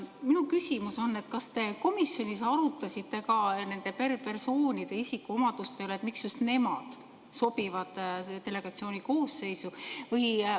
Minu küsimus: kas te komisjonis arutasite ka nende persoonide isikuomaduste üle, miks just nemad sobivad delegatsiooni koosseisu?